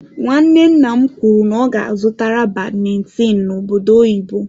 Nwanne nna m kwuru n'ọga azụtara badmintin n'obodo oyibo.